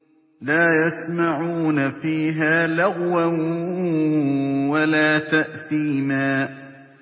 لَا يَسْمَعُونَ فِيهَا لَغْوًا وَلَا تَأْثِيمًا